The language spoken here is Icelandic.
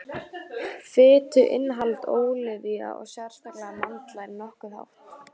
fituinnihald ólíva og sérstaklega mandla er nokkuð hátt